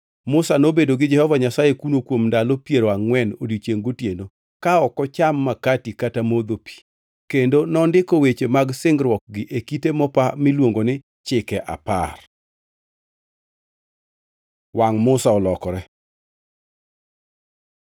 Musa nobedo gi Jehova Nyasaye kuno kuom ndalo piero angʼwen odiechiengʼ gotieno, ka ok ocham makati kata modho pi. Kendo nondiko weche mag singruokgi e kite mopa miluongi ni Chike Apar. Wangʼ Musa olokore